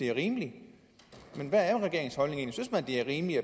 er rimelig men hvad er regeringens holdning egentlig